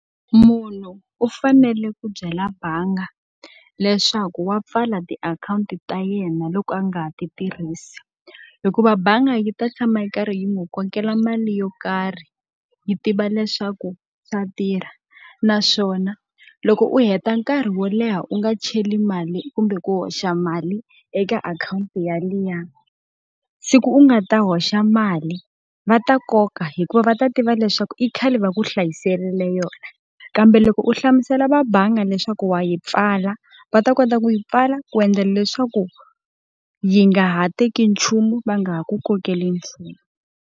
Munhu u fanele ku byela bangi leswaku wa pfala tiakhawunti ta yena loko a nga ha ti tirhisi, hikuva bangi yi ta tshama yi karhi yi n'wi kokela mali yo karhi yi tiva leswaku swa tirha. Naswona loko u heta nkarhi wo leha u nga cheli mali kumbe ku hoxa mali eka akhawunti yaliya, siku u nga ta hoxa mali va ta koka hikuva va ta tiva leswaku i khale va ku hlayisela yona. Kambe loko u hlamusela va bangi leswaku wa yi pfala, va ta kota ku yi pfala ku endlela leswaku yi nga ha teki nchumu va nga ha ku kokeli nchumu.